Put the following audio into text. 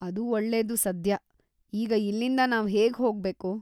ಅದು ಒಳ್ಳೇದು ಸದ್ಯ. ಈಗ ಇಲ್ಲಿಂದ ನಾವ್ ಹೇಗ್ ಹೋಗ್ಬೇಕು?